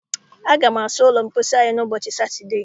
Aga m asa ụlọ mposi anyị ụbọchị Satọdee.